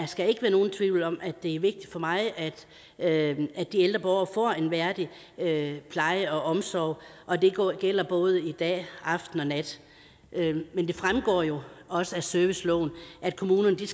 skal ikke være nogen tvivl om at det er vigtigt for mig at at de ældre borgere får en værdig pleje og omsorg og det gælder både dag aften og nat men det fremgår jo også af serviceloven at kommunerne